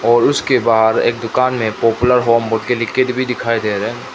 और उसके बाद एक दुकान में पॉपुलर होम भी दिखाई दे रा--